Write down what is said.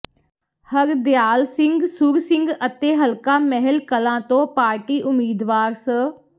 ਹਰਦਿਆਲ ਸਿੰਘ ਸੁਰਸਿੰਘ ਅਤੇ ਹਲਕਾ ਮਹਿਲ ਕਲਾਂ ਤੋਂ ਪਾਰਟੀ ਉਮੀਦਵਾਰ ਸ